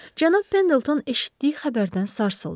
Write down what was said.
Cənab Pendelton eşitdiyi xəbərdən sarsıldı.